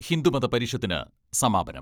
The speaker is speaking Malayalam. ഹിന്ദുമത പരിഷത്തിന് സമാപനം.